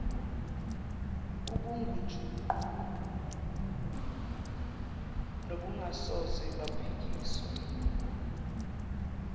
obungujuqu nobungasoze baphikiswa